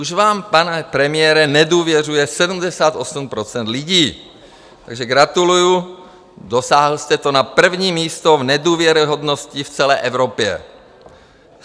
Už vám, pane premiére, nedůvěřuje 78 % lidí, takže gratuluju, dosáhl jste to na první místo v nedůvěryhodnosti v celé Evropě.